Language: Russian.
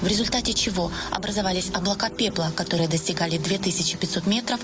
в результате чего образовались облака пепла которые достигали две тысячи пятьсот метров